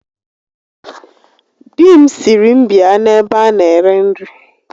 Di m sịrị m bịa n'ebe a na-ere nri